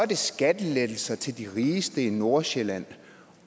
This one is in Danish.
det skattelettelser til de rigeste i nordsjælland